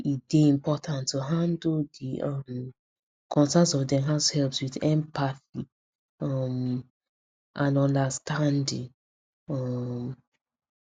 e dey important to handle the um concerns of dem househelps with empathy um and understanding um